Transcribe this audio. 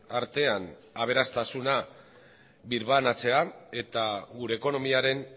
artean aberastasuna birbanatzea eta gure ekonomiaren